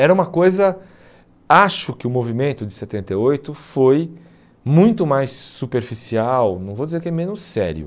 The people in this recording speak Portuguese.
Era uma coisa... Acho que o movimento de setenta e oito foi muito mais superficial, não vou dizer que é menos sério.